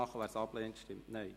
Wer dies ablehnt, stimmt Nein.